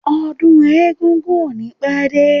Ọdún eégún ò ní pẹ́ dé.